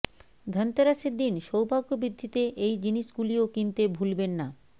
ধনতেরাসের দিন সৌভাগ্য বৃদ্ধিতে এই জিনিসগুলিও কিনতে ভুলবেন না